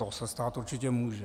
To se stát určitě může.